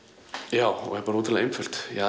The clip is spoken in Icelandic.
já er bara ótrúlega einföld ég